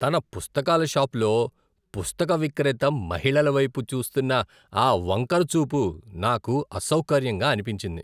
తన పుస్తకాల షాప్ లో పుస్తక విక్రేత మహిళల వైపు చూస్తున్న ఆ వంకర చూపు నాకు అసౌకర్యంగా అనిపించింది .